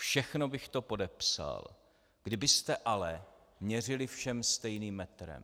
Všechno bych to podepsal, kdybyste ale měřili všem stejným metrem.